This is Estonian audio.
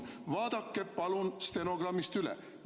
Vaadake palun stenogrammist üle!